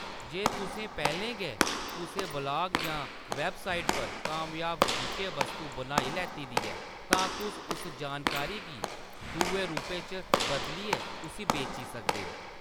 जे तुसें पैह्‌‌‌लें गै कुसै ब्लाग जां वैबसाइट पर कामयाब विशे-वस्तु बनाई लैत्ती दी ऐ, तां तुस उस जानकारी गी दुए रूपै च बदलियै उस्सी बेची सकदे हो।